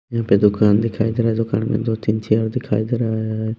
यहाँ पे दुकान दिखाई दे रहा है दुकान में दो-तीन चेयर दिखाई दे रहा है।